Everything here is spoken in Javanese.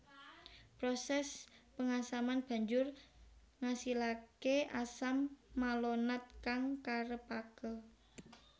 Proses pengasaman banjur ngasilake asam malonat kang karepake